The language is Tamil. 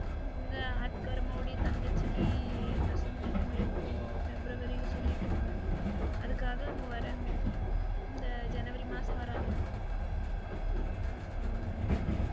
அந்த ஆட்டுக்கார அம்மாவோட தங்கச்சிக்கு பிரசவம் எப்போ febrauary ல சொல்லிருக்காங்க அதுக்காக அவங்க வராங்க இந்த ஜனவரி மாசம் வராங்க.